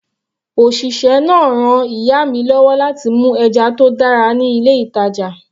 Òṣìṣẹ́ náà ran ìyá mi lọ́wọ́ láti mú ẹja tó dára ní ilé ìtàjà.